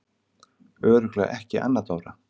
Örugglega ekki Anna Dóra?